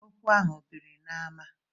Okwu ahụ o biri n’ama?